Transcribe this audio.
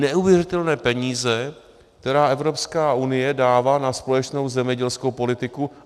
Neuvěřitelné peníze, které Evropská unie dává na společnou zemědělskou politiku.